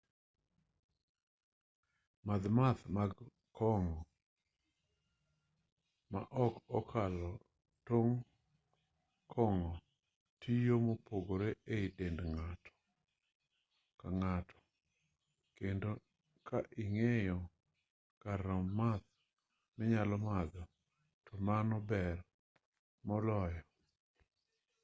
madh math mag kong'o ma ok okalo tong' kong'o tiyo mopogore e dend ng'ato ka ng'ato kendo ka ing'eyo kar romb math minyalo madho to mano ber moloyo